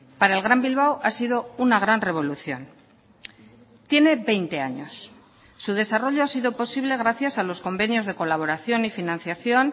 para el gran bilbao ha sido una gran revolución tiene veinte años su desarrollo ha sido posible gracias a los convenios de colaboración y financiación